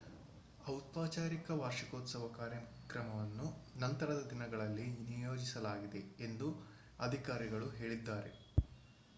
ಔಪಚಾರಿಕ ವಾರ್ಷಿಕೋತ್ಸವ ಕಾರ್ಯಕ್ರಮವನ್ನು ನಂತರದ ದಿನಗಳಲ್ಲಿ ನಿಯೋಜಿಸಲಾಗಿದೆ ಎಂದು ಅಧಿಕಾರಿಗಳು ಹೇಳಿದ್ದಾರೆ